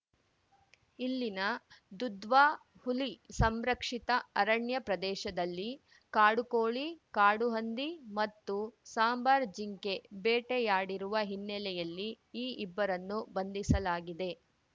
ಇಲ್ಲಿನ ದುಧ್ವಾ ಹುಲಿ ಸಂರಕ್ಷಿತ ಅರಣ್ಯ ಪ್ರದೇಶದಲ್ಲಿ ಕಾಡುಕೋಳಿ ಕಾಡು ಹಂದಿ ಮತ್ತು ಸಾಂಬಾರ್ ಜಿಂಕೆ ಬೇಟೆಯಾಡಿರುವ ಹಿನ್ನೆಲೆಯಲ್ಲಿ ಈ ಇಬ್ಬರನ್ನು ಬಂಧಿಸಲಾಗಿದೆ